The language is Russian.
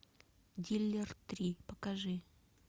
дилер три покажи